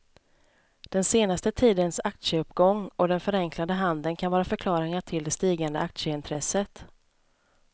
Den senaste tidens aktieuppgång och den förenklade handeln kan vara förklaringar till det stigande aktieintresset.